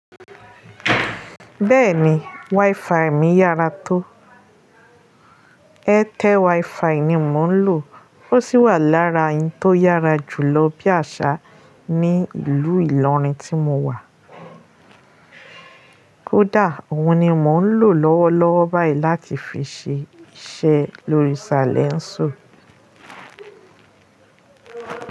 Bẹ́ẹ̀ni, wifi mi yára tó. Airtel wifi ni mò ń lò ó sì wà lára ẹyi tó yára jùlọ bí àṣá ní ìlú Ìlọrin tí mo wà. Kódà òun ni mò ń lò lọ́wọ́lọ́wọ́ báyìí láti fi ṣe iṣẹ́ lórí Salẹńsò.